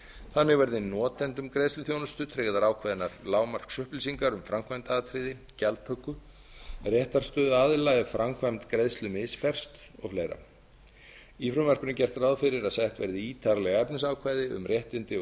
þannig verði notendum greiðsluþjónustu tryggðar ákveðnar lágmarksupplýsingar um framkvæmdaatriði gjaldtöku en réttarstöðu aðila ef framkvæmd greiðslu misferst og fleira í frumvarpinu er gert ráð fyrir að sett verði ítarleg efnisákvæði um réttindi og